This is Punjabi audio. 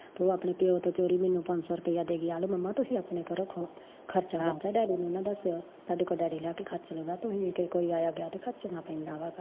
ਓ ਆਪਣੇ ਪਿਓ ਤੋਂ ਚੋਰੀ ਮੈਨੂ ਪੰਜ ਸੌ ਰੁਪਈਆ ਦੇ ਗਿਆ ਆ ਲਓ ਮੰਮਾ ਤੁਸੀਂ ਆਪਣੇ ਕੋਲ ਰੱਖੋ, ਡੈਡੀ ਨੂੰ ਨਾ ਦੱਸਿਓ, ਸਾਡੇ ਕੋਲੋਂ ਡੈਡੀ ਲਿਆਕੇ ਖਰਚ ਦਿੰਦਾ, ਤੁਸੀਂ ਕੋਈ ਆਇਆ ਗਿਆ ਤੇ ਖਰਚਣਾ ਪੈਂਦਾ ਵਾ ਗਾ